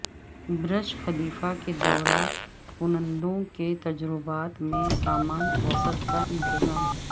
برج Khalifa کے دورہ کنندوں کے تجربات میں سامان وسعت کاانتظام